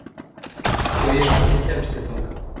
Gauja, hvernig kemst ég þangað?